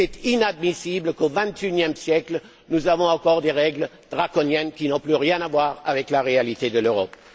Il est inadmissible qu'au XXIe siècle nous ayons encore des règles draconiennes qui n'ont plus rien à voir avec la réalité de l'Europe.